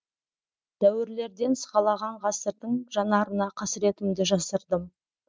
дәуірлерден сығалаған ғасырдың жанарына қасіретімді жасырдым